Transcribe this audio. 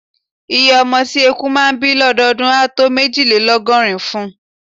Iye ọmọ tí eku máà ń bí lọ́dọọdún á tó méjìlélọ́gọ́rùn-ún.